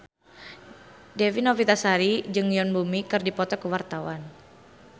Dewi Novitasari jeung Yoon Bomi keur dipoto ku wartawan